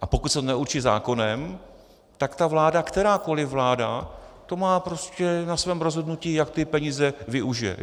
A pokud se to neurčí zákonem, tak ta vláda, kterákoliv vláda, to má prostě na svém rozhodnutí, jak ty peníze využije.